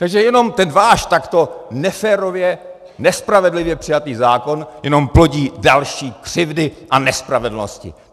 Takže jenom ten váš takto neférově, nespravedlivě přijatý zákon jenom plodí další křivdy a nespravedlnosti.